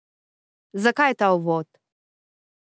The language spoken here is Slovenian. Zakaj ta uvod?